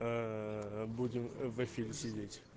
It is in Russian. будем в эфире сидеть